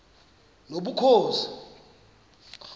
nobukhosi